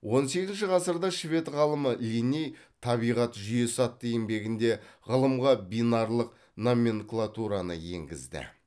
он сегізінші ғасырда швед ғалымы линней табиғат жүйесі атты еңбегінде ғылымға бинарлық номенклатураны енгізді